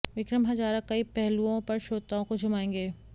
विक्रम हजारा कई पहलुओं पर श्रोताओं को झुमाएंगे